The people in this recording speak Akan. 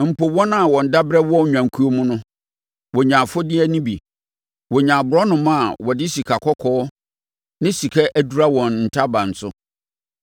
Mpo wɔn a wɔn daberɛ wɔ nnwankuo mu no, wɔnya afodeɛ no bi. Wɔnya aborɔnoma a wɔde sikakɔkɔɔ ne sika adura wɔn ntaban so.”